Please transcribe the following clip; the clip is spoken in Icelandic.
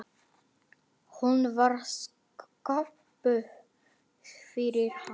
Hún var sköpuð fyrir hann.